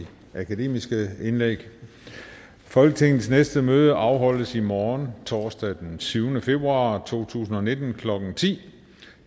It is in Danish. de akademiske indlæg folketingets næste møde afholdes i morgen torsdag den syvende februar to tusind og nitten klokken ti